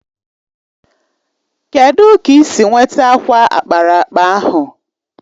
Kedụ ka ị si nweta akwa ákpáraàkpà ahụ?